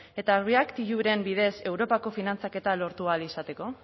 eta bidez europako finantzaketa lortu ahal izateko